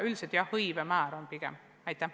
Üldiselt arvestame pigem hõivemäära.